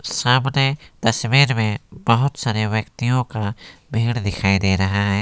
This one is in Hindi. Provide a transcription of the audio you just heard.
सामने तस्वीर में बहुत सारे व्यक्तियों का भीड़ दिखाई दे रहा हैं।